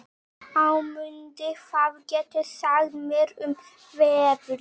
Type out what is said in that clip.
Ámundi, hvað geturðu sagt mér um veðrið?